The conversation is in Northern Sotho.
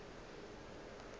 o ka se tsoge o